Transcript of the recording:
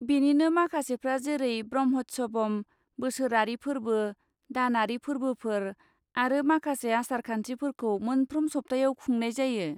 बेनिनो माखासेफ्रा जेरै ब्रह्म'त्सवम, बोसोरारि फोर्बो, दानारि फोर्बोफोर आरो माखासे आसारखान्थिफोरखौ मोनफ्रोम सप्तायाव खुंनाय जायो।